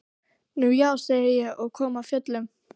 Nú já, sagði ég og kom af fjöllum.